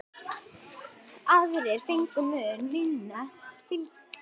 Aðrir fengu mun minna fylgi.